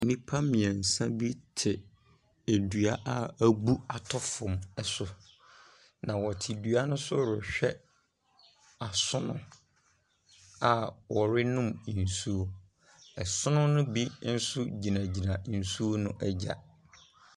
Nnipa mmiɛnsa bi te dua a abu at fam so. Na wɔte dua ne so rehwɛ asono a wɔrenom nsu.